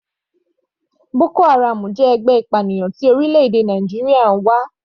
Boko haram jẹ́ ẹgbẹ́ ìpaniláyà tí orílẹ̀-èdè Nàìjíríà ń wá.